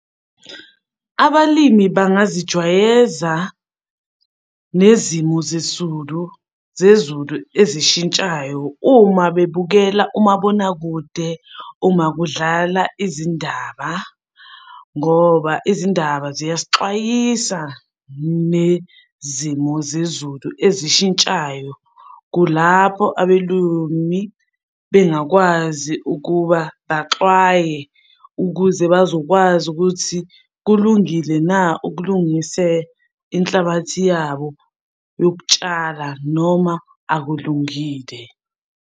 Abalimi bangazijwayeza nezimo zesulu zezulu ezishintshayo uma bebukela umabonakude uma kudlala izindaba ngoba izindaba ziyasixwayisa nezimo zezulu ezishintshayo. Kulapho abelumi bengakwazi ukuba baxwaye ukuze bazokwazi ukuthi kulungile na ukulungise inhlabathi yabo yokutshala noma akulungile.